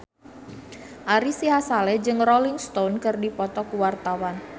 Ari Sihasale jeung Rolling Stone keur dipoto ku wartawan